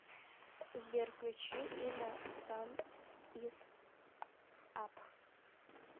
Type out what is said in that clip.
сбер включи инна сан ис ап